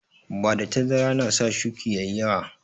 Bada tazara na sa shuƙi ƴaƴi yawa